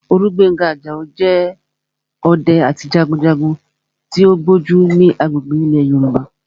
Olúgbénga Àjàó jẹ́ ọdẹ àti jagunjagun tó gbójú ní agbègbè ilẹ̀ Yorùbá